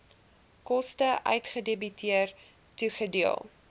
koste uitgedebiteer toegedeel